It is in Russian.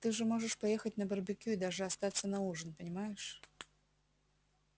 ты же можешь поехать на барбекю и даже остаться на ужин понимаешь